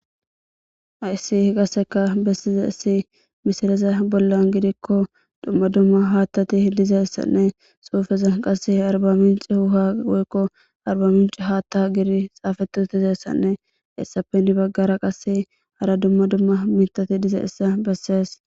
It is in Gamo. Ayssi hi qaseka bessize issi misireza bollan gidikko dumma dumma haattati dizayssanne suufeza qasse arbaminci huha goykko arbaminci haatta giri xaafetu tizeyssanne essapen baggara qasse hara dumma dumma mitati dizeissa bessees.